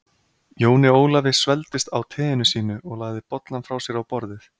Jóni Ólafi svelgdist á teinu sínu og lagði bollann frá sér á borðið.